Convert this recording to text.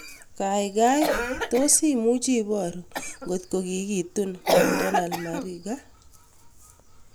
Gaigai tos' imuch iporu ngotko kikitun Macdonald Mariga